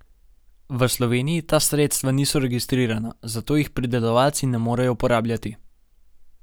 V Sloveniji ta sredstva niso registrirana, zato jih pridelovalci ne morejo uporabljati.